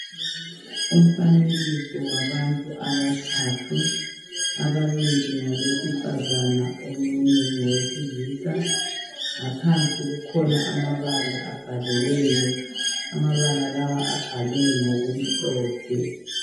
umfanekiso wabantu abathathu ababili ngabesifazana omunye ngowesilisa ngaphansi kukhona amabala abhaliweyo amabala abhalwe ngokumhlophe